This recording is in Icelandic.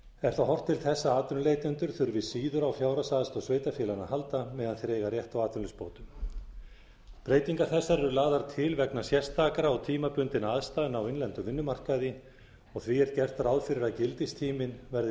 er þá horft til þess að atvinnuleitendur þurfi síður á fjárhagsaðstoð sveitarfélaganna að halda meðan þeir eiga rétt á atvinnuleysisbótum breytingar þessar eru lagðar vegna sérstakra og tímabundinna aðstæðna á innlendum vinnumarkaði og því er gert ráð fyrir að gildistíminn verði